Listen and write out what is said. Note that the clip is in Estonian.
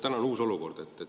Täna on uus olukord.